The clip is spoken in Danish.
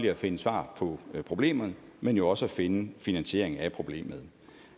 at finde svar på problemerne men jo også at finde finansieringen af problemerne